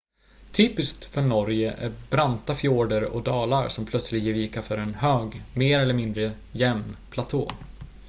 typiskt för norge är branta fjorder och dalar som plötsligt ger vika för en hög mer eller mindre jämn platå